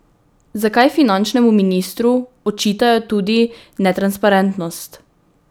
Zakaj finančnemu ministru očitajo tudi netransparentnost?